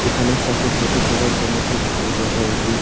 এখানে photo photo তোলার জন্য খুব ভালো জায়গা এটি।